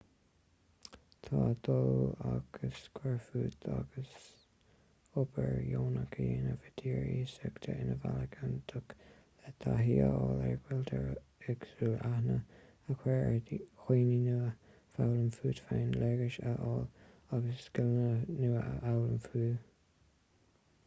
tá dul agus cuir fút agus obair dheonach a dhéanamh i dtír iasachta ina bhealach iontach le taithí a fháil ar chultúr éagsúil aithne a chur ar dhaoine nua foghlaim fút féin léargas a fháil agus scileanna nua a fhoghlaim fiú